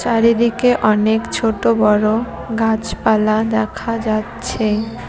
চারিদিকে অনেক ছোট বড় গাছপালা দেখা যাচ্ছে।